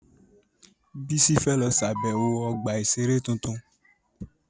Bísí fẹ́ lọ ṣàbẹ̀wọ̀ ọgbà-ìṣeré tuntun